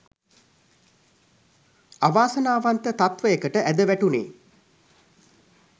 අවාසනාවන්ත තත්වයකට ඇද වටුනේ.